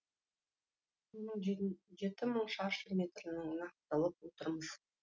соның жеті мың шаршы метрін нақтылап отырмыз